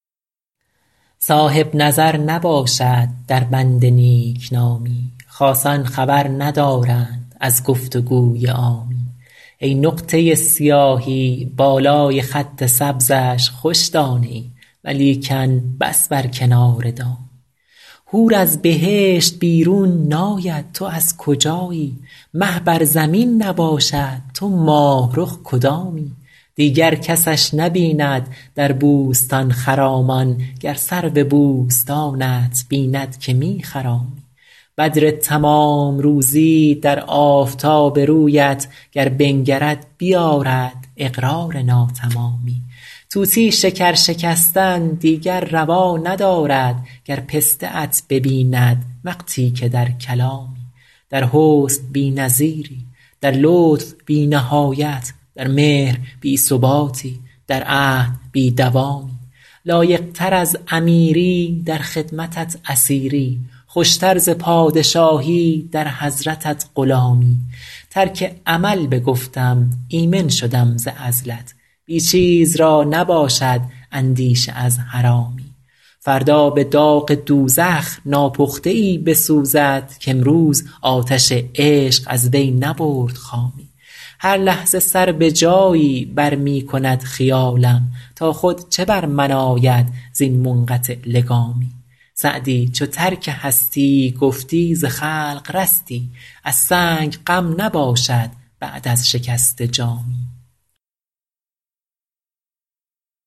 صاحب نظر نباشد در بند نیک نامی خاصان خبر ندارند از گفت و گوی عامی ای نقطه سیاهی بالای خط سبزش خوش دانه ای ولیکن بس بر کنار دامی حور از بهشت بیرون ناید تو از کجایی مه بر زمین نباشد تو ماه رخ کدامی دیگر کسش نبیند در بوستان خرامان گر سرو بوستانت بیند که می خرامی بدر تمام روزی در آفتاب رویت گر بنگرد بیآرد اقرار ناتمامی طوطی شکر شکستن دیگر روا ندارد گر پسته ات ببیند وقتی که در کلامی در حسن بی نظیری در لطف بی نهایت در مهر بی ثباتی در عهد بی دوامی لایق تر از امیری در خدمتت اسیری خوش تر ز پادشاهی در حضرتت غلامی ترک عمل بگفتم ایمن شدم ز عزلت بی چیز را نباشد اندیشه از حرامی فردا به داغ دوزخ ناپخته ای بسوزد کامروز آتش عشق از وی نبرد خامی هر لحظه سر به جایی بر می کند خیالم تا خود چه بر من آید زین منقطع لگامی سعدی چو ترک هستی گفتی ز خلق رستی از سنگ غم نباشد بعد از شکسته جامی